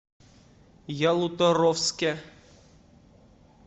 ялуторовске